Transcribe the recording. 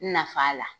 Nafa la